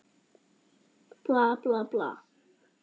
Bla, bla, bla.